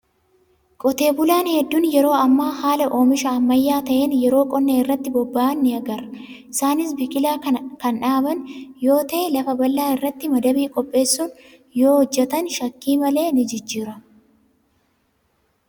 Qotee bulaan hedduun yeroo ammaa haala oomisha ammayyaa ta'een yeroo qonna irratti bobba'an ni agarra. Isaanis biqilaa kan dhaaban yoo tae', lafa bal'aa irratti madabii qopheessuun yoo hojjatan shakkii malee ni jijjiiramu.